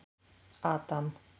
Adam